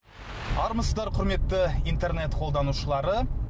армысыздар құрметті интернет қолданушылары